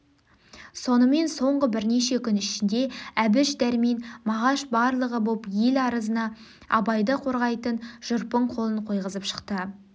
сонымен соңғы бірнеше күн ішінде әбіш дәрмен мағаш барлығы боп ел арызына абайды қорғайтын жүрпың қолын қойғызып шықты